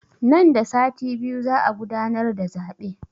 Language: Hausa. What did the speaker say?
Nan da sati biyu za a gudanar da zaɓe